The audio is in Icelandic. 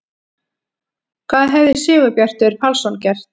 Hvað hefði Sigurbjartur Pálsson gert?